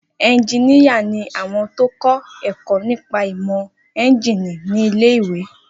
Eunjíníyà ni àwọn tó kọ́ ẹ̀kọ́ nípa ìmọ̀ éúnjínì ní ilé-ìwé